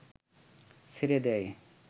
ছেড়ে দেয়